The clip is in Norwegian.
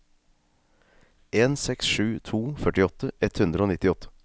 en seks sju to førtiåtte ett hundre og nittiåtte